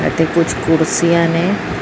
ਤੇ ਕੁਛ ਕੁਰਸੀਆਂ ਨੇ।